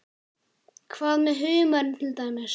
Hvað með humarinn til dæmis?